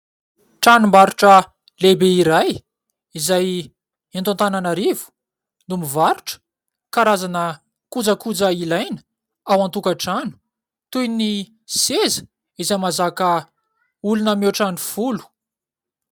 Tranombarotra lehibe iray izay eto Antananarivo no mivarotra karazana kojakoja ilaina ao antokatrano toy ny seza izay mazaka olona miaotra ny folo